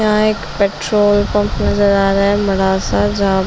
यहाँ एक petrol pump नजर आ रहा है बड़ा सा जहाँ --